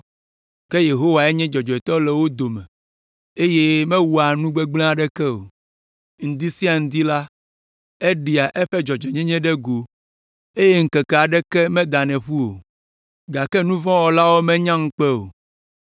Ke Yehowae nye dzɔdzɔetɔ le wo dome, eye mewɔa nu gbegblẽ aɖeke o. Ŋdi sia ŋdi la, eɖea eƒe dzɔdzɔenyenye ɖe go, eye ŋkeke aɖeke medanɛ ƒu o. Gake nu vɔ̃ wɔlawo menya ŋukpe o.